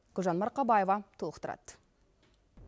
гүлжан марқабаева толықтырады